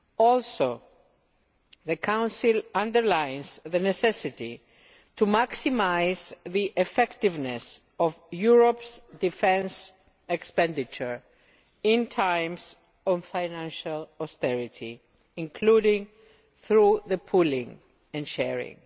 Also, the Council underlines the necessity to maximise the effectiveness of Europe's defence expenditure in times of financial austerity, including through pooling and sharing.